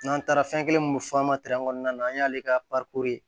N'an taara fɛn kelen mun fɔ an ma kɔnɔna na an y'ale ka